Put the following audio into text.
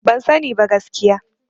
Ban sani ba gaskiya.